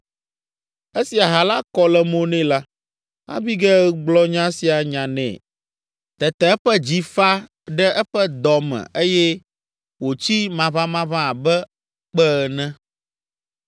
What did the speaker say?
Esi aha la kɔ le mo nɛ la, Abigail gblɔ nya sia nya nɛ. Tete eƒe dzi fa ɖe eƒe dɔ me eye wòtsi maʋamaʋã abe kpe ene.